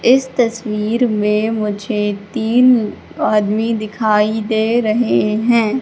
इस तस्वीर में मुझे तीन आदमी दिखाई दे रहे हैं।